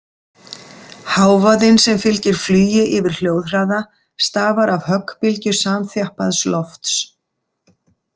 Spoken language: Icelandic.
Hávaðinn sem fylgir flugi yfir hljóðhraða stafar af höggbylgju samþjappaðs lofts.